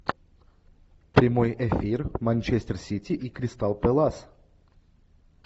прямой эфир манчестер сити и кристал пэлас